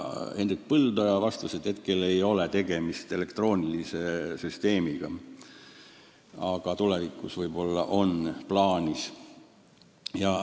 Hendrik Põldoja vastas, et praegu ei ole tegemist elektroonilise süsteemiga, aga tulevikus see võib-olla luuakse.